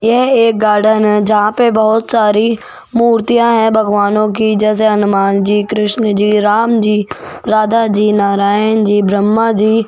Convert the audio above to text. यह एक गार्डन हैं जहां पे बहुत सारी मूर्तियां हैं भगवानों कि जैसे हनुमान जी कृष्ण जी राम जी राधा जी नारायण जी ब्रह्मा जी।